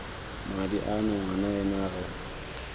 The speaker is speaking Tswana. madi ano ngwana ena re